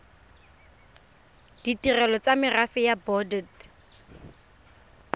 ditirelo tsa merafe ya bodit